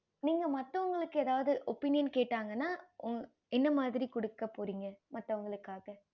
நீங்க மத்தவங்களுக்கு எதாவது opinion கேட்டாங்கன்னா என்ன மாறி குடுக்க போறீங்க மத்தவங்களுக்காக